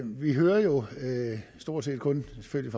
vi hører jo stort set kun selvfølgelig